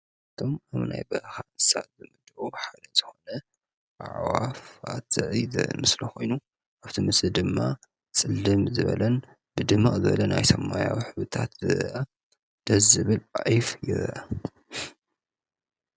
ናይ በረኻ እንስሳ ኮይኑ ሓደ ዝኾነ ኣዕዋፋት ዘርኢ ምስሊ ኮይኑ ኣብቲ ምስሊ ድማ ፅልም ዝበለን ብድምቕ ዝበለን ናይ ሰማያዊ ሕብርታት ደሰ ዝብል ዒፍ ንርኢለና።